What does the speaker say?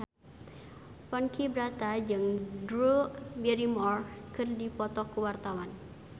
Ponky Brata jeung Drew Barrymore keur dipoto ku wartawan